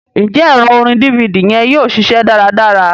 Njẹ ẹrọ orin DVD yẹn yóò ṣiṣẹ dáradára?